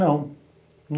Não.